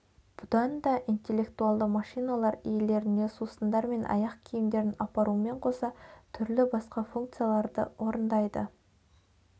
бұданда интеллектуалды машиналар иелеріне сусындар мен аяқ киімдерін апарумен қоса түрлі басқа функцияларды орындайды